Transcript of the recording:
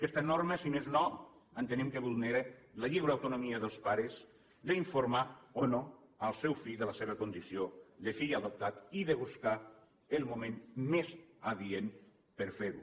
aquesta norma si més no entenem que vulnera la lliure autonomia dels pares d’informar o no el seu fill de la seva condició de fill adoptat i de buscar el moment més adient per a fer ho